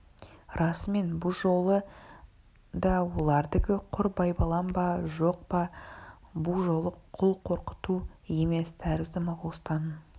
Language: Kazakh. расымен бұ жолы да олардікі құр байбалам ба жоқ бұ жолы құр қорқыту емес тәрізді моғолстанның